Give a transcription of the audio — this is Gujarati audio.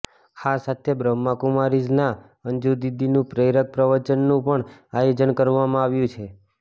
આ સાથે બ્રહ્માકુમારીઝના અંજુદીદીનું પ્રેરક પ્રવચનનું પણ આયોજન કરવામાં આવ્યું છે